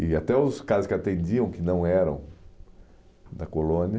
E até os caras que atendiam, que não eram da colônia.